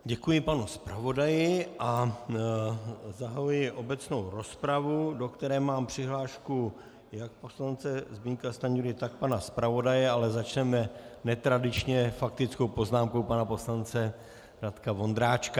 Děkuji panu zpravodaji, a zahajuji obecnou rozpravu, do které mám přihlášku jak poslance Zbyňka Stanjury, tak pana zpravodaje, ale začneme netradičně, faktickou poznámkou pana poslance Radka Vondráčka.